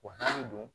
O hakili don